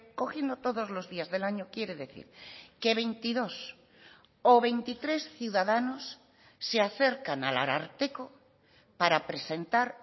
cogiendo todos los días del año quiere decir que veintidós o veintitrés ciudadanos se acercan al ararteko para presentar